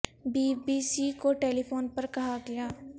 be B C کو telephone پر کہا گیا